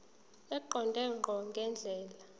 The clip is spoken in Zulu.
eqonde ngqo ngendlela